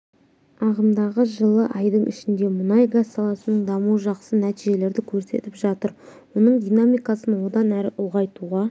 ағымдағы жылы айдың ішінде мұнай-газ саласының дамуы жақсы нәтижелерді көрсетіп жатыр оның динамикасын одан әрі ұлғайтуға